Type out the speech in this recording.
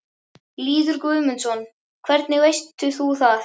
Lýður Guðmundsson: Hvernig veist þú það?